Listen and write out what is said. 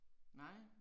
Nej